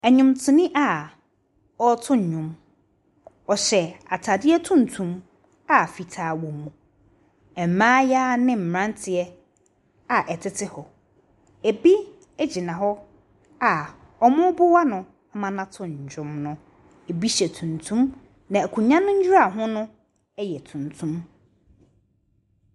Nnwomtoni a ɔreto nnwom. Ɔhyɛ atadeɛ tuntum a fitaa wɔ mu. Mmayewa ne mmeranteɛ a wɔtete hɔ. Ebi gyina hɔ a wɔreboa no ma no ato ndwom no. ebi hyɛ tuntum, na akonnwa no nnuraho no yɛ tuntum.